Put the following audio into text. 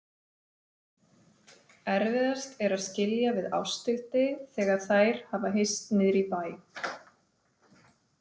Erfiðast er að skilja við Ásthildi þegar þær hafa hist niðri í bæ.